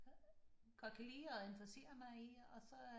Godt kan lide at interessere mig i og så